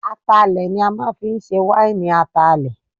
Atalẹ̀ ni a máa ń fi í ṣe wáìnì Atalẹ̀